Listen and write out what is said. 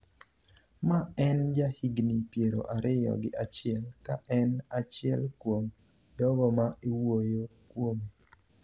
ma en jahigni piero ariyo gi achiel, ka en achiel kuom jogo ma iwuoyo kuome